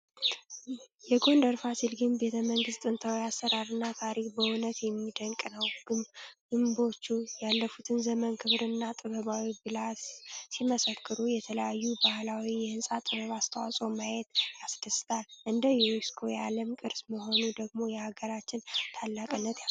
የጎንደር ፋሲል ግቢ ቤተመንግስት ጥንታዊ አሰራርና ታሪክ በእውነት የሚደንቅ ነው! ግምቦቹ ያለፉበትን ዘመን ክብርና ጥበባዊ ብልሃት ሲመሰክሩ፣ የተለያዩ ባህሎች የሕንፃ ጥበብ አስተዋጽኦ ማየቱ ያስደስታል። እንደ ዩኔስኮ የዓለም ቅርስ መሆኑ ደግሞ የሀገራችንን ታላቅነት ያሳያል!